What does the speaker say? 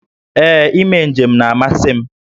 Ee, ime njem na-amasị m